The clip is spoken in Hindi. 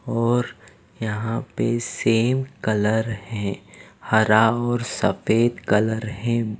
और यहाँ पे सेम कलर हैं हरा और सपेद कलर है।